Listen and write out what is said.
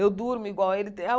Eu durmo igual a ele.